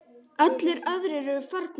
Allir aðrir eru farnir.